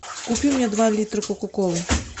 купи мне два литра кока колы